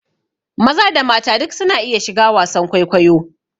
Maza da mata duk su na iya shiga wasan kwaikwayo